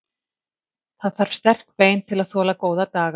Það þarf sterk bein til að þola góða daga.